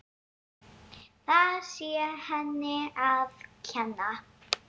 Það sé henni að kenna.